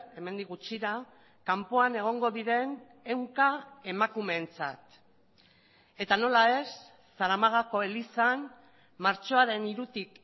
hemendik gutxira kanpoan egongo diren ehunka emakumeentzat eta nola ez zaramagako elizan martxoaren hirutik